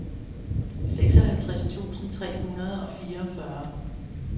seksoghalvtreds tusind tre hundrede og fireogfyrre